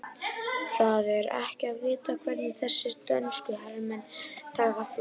Það er ekki að vita hvernig þessir dönsku herramenn taka því.